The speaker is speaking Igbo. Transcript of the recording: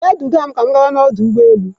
Bịa duga m ka ọ gawa n'ọdụ ụgbọ elu.